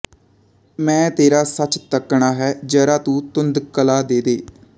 ਮੈਂ ਤੇਰਾ ਸੱਚ ਤੱਕਣਾ ਹੈ ਜ਼ਰਾ ਤੂੰ ਧੁੰਧਲਕਾ ਦੇਦੇ